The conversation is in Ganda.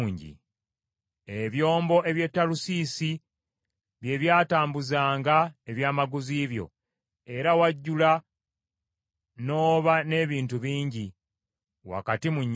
“ ‘Ebyombo eby’e Talusiisi bye byatambuzanga ebyamaguzi byo. Era wajjula n’oba n’ebintu bingi wakati mu nnyanja.